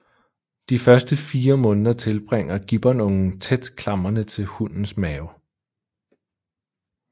De første fire måneder tilbringer gibbonungen tæt klamrende til hunnens mave